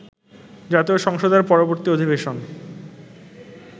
জাতীয় সংসদের পরবর্তী অধিবেশন